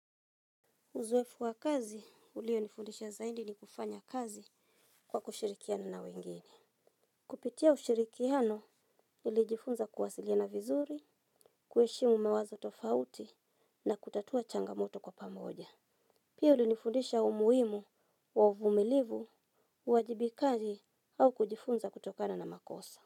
Uzoefu wa kazi, ulio nifundisha zaindi ni kufanya kazi kwa kushirikiana na wengine. Kupitia ushirikiano, nilijifunza kuwasilina vizuri, kueshimu mawazo tofauti na kutatua changamoto kwa pamoja. Pia ulinifundisha umuimu wa uvumilivu, uwajibikazi au kujifunza kutokana na makosa.